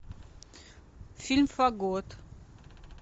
фильм фагот